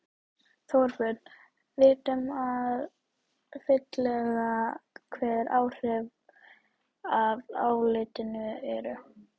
Þorbjörn, vitum við fyllilega hver áhrifin af álitinu eru?